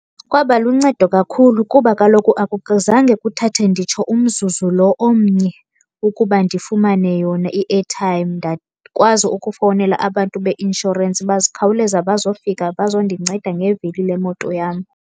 Kwaba luncedo kakhulu kuba kaloku akuzange kuthathe nditsho umzuzu lo omnye ukuba ndifumane yona i-airtime. Ndakwazi ukufowunela abantu beinshorensi bakhawuleza bazofika bazondinceda ngevili lemoto yam.